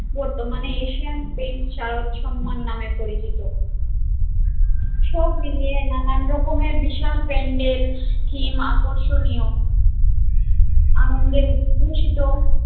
বর্তমানে Asian Paints Sharad Samman নামে পরিচিত সব মিলিয়ে নানান রকমের বিশাল প্যান্ডেল theme আকর্ষণীয়